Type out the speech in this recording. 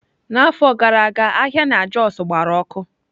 N'afọ gara aga ahịa na Jos gbara ọkụ.